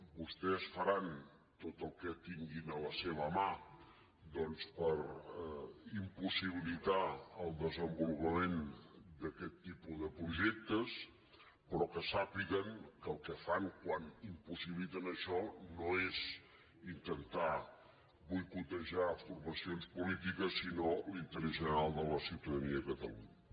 vostès faran tot el que tinguin a la seva mà doncs per impossibilitar el des·envolupament d’aquest tipus de projectes però que sà·piguen que el que fan quan impossibiliten això no és intentar boicotejar formacions polítiques sinó l’inte·rès general de la ciutadania de catalunya